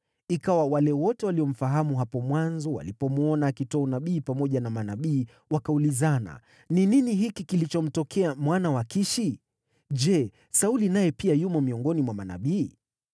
Ikawa wale wote waliomfahamu hapo mwanzo walipomwona akitoa unabii pamoja na manabii, wakaulizana, “Ni nini hiki kilichomtokea mwana wa Kishi? Je, Sauli naye pia yumo miongoni mwa manabii?”